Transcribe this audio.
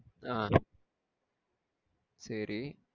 ஆஹ்ன் சேரி.